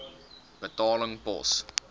betaling pos